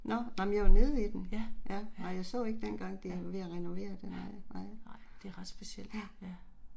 Ja, ja. Ja. Nej, det er ret specielt, ja